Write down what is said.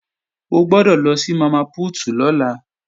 O gbọ́dọ̀ lọ sí Mama Put lọ́la